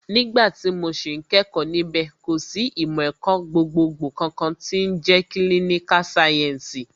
Nígbà tí mo sì ń kẹ́kọ̀ọ́ níbẹ̀, kò sì ìmọ̀ ẹ̀kọ́ gbogbogbò kankan tí ń jẹ́ kílíníkà sáyẹ́ǹsì